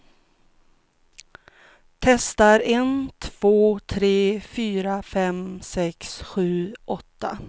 Testar en två tre fyra fem sex sju åtta.